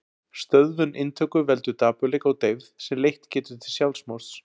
Stöðvun inntöku veldur dapurleika og deyfð sem leitt getur til sjálfsmorðs.